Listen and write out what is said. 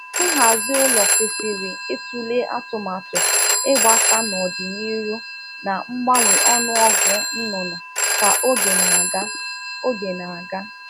Ihe owuwu ụlọ kwesịrị um ilebara mmepe ọdịnihu anya ya na-mgbanwe na ọnụ ọgụgụ ụmụ ọkụkọ um n’oge dị iche iche.